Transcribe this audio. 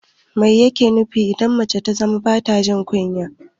Mai yake nufi idan mace ta zama bata jin kunya?